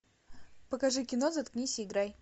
покажи кино заткнись и играй